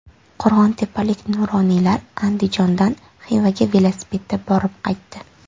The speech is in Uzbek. Qo‘rg‘ontepalik nuroniylar Andijondan Xivaga velosipedda borib qaytdi.